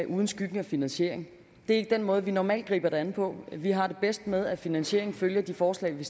uden skyggen af finansiering det er ikke den måde vi normalt griber det an på vi har det bedst med at finansieringen følger de forslag vi